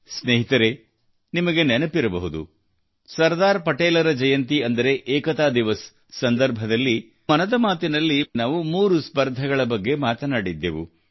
ಸ್ನೇಹಿತರೇ ನಿಮಗೆ ನೆನಪಿರಬಹುದು ಸರ್ದಾರ್ ಪಟೇಲರ ಜಯಂತಿ ಅಂದರೆ ಏಕತಾ ದಿವಸ್ ಸಂದರ್ಭದಲ್ಲಿ ಮನ್ ಕಿ ಬಾತ್ ನಲ್ಲಿ ನಾವು ಮೂರು ಸ್ಪರ್ಧೆಗಳ ಬಗ್ಗೆ ಮಾತನಾಡಿದ್ದೆವು